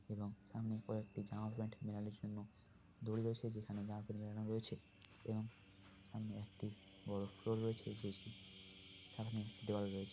এবং সামনে কয়েকটি জামা প্যান্ট মেলানোর জন্য দড়ি রয়েছে। যেখানে জামা প্যান্ট মেলানো রয়েছে এবং সামনে একটি বড় ফ্লোর রয়েছে যেটির সামনে একটি দেওয়াল রয়েছে।